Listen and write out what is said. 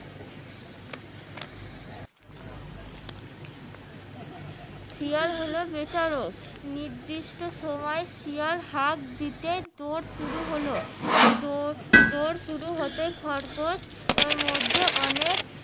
শিয়াল হলো বিচারক নির্দির্ষ্ট সময় শিয়াল হাক দিতে দৌড় শুরু হলো দৌড় শুরু হতে খরগোশ এর মধ্যে অনেক